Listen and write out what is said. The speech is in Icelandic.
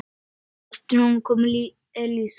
Á eftir honum kom Elísa.